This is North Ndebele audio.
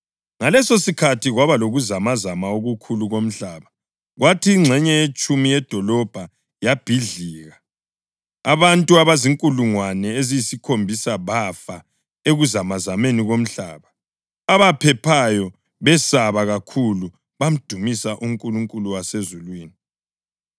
Ngalesosikhathi kwaba lokuzamazama okukhulu komhlaba kwathi ingxenye yetshumi yedolobho yabhidlika. Abantu abazinkulungwane eziyisikhombisa bafa ekuzamazameni komhlaba, abaphephayo, besaba kakhulu bamdumisa uNkulunkulu wasezulwini.